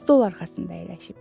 Stol arxasında əyləşib.